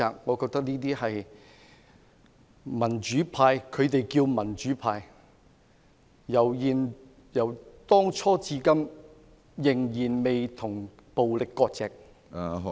我認為這些民主派——他們自稱為民主派——由當初至今仍未與暴力割席......